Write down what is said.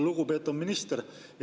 Lugupeetud minister!